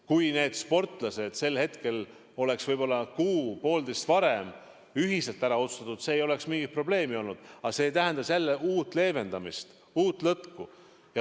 Kui nende sportlaste kohta oleks võib-olla kuu-poolteist varem ühiselt otsus tehtud, siis ei oleks mingit probleemi olnud, aga see tähendas jälle uut leevendamist, uut lõtku.